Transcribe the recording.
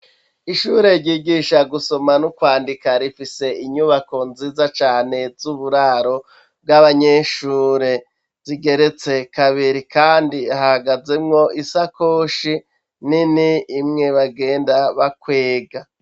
Ishure ryigisha gusoma n'ukwandika rifise inyubako nziza cane z'uburaro bw'abanyeshure zigeretse kabiri kandi hahagazemwo isakoshi nini imwe bagenda bakwega.